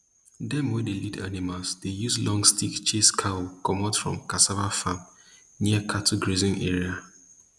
dem wey dey lead animal dey use long stick chase cow comot from cassava farm near cattle grazing area